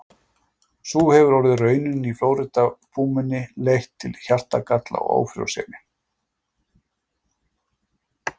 Sú hefur orðið raunin hjá Flórída-púmunni og leitt til hjartagalla og ófrjósemi.